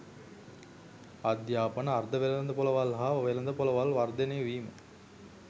අධ්‍යාපන අර්ධවෙළඳපොළවල් හා වෙළඳපොළවල් වර්ධනය වීම